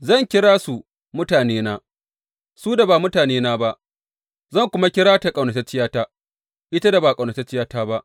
Zan kira su mutanena,’ su da ba mutanena ba; zan kuma kira ta ƙaunatacciyata,’ ita da ba ƙaunatacciyata ba,